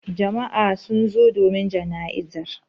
Jama'a sun zo domin jana'izar.